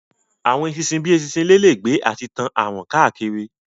Àwọn eṣinṣin bíi eṣinṣin ilé lè gbé àti tán àrùn káàkiri